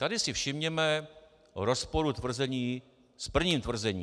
- Tady si všimněme rozporu tvrzení s prvním tvrzením.